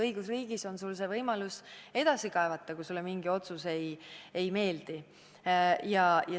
Õigusriigis on sul võimalus edasi kaevata, kui sulle mingi otsus ei meeldi.